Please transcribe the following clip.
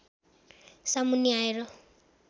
सामुन्ने आएर